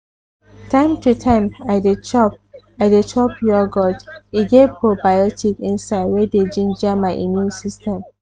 time to time i dey chop i dey chop yogurt e get probiotic inside wey dey ginger my immune system.